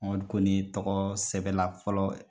Mamadu Kone tɔgɔ sɛbɛn la fɔlɔ